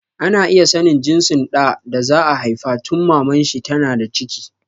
Ana iya sanin jinsin ɗan da za a haifa tun Maman shi ta na da ciki